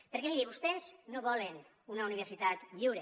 perquè miri vostès no volen una universitat lliure